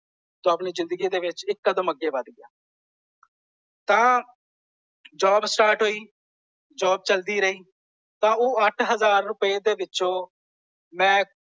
ਤੂੰ ਆਪਣੀ ਜਿੰਦਗੀ ਦੇ ਵਿੱਚ ਇੱਕ ਕਦਮ ਅੱਗੇ ਵੱਧ ਗਿਆ। ਤਾਂ ਜੌਬ ਸਟਾਰਟ ਹੋਈ। ਜੌਬ ਚਲਦੀ ਰਹੀ। ਤਾਂ ਉਹ ਅੱਠ ਹਜ਼ਾਰ ਰੁਪਏ ਦੇ ਵਿਚੋਂ ਮੈਂ।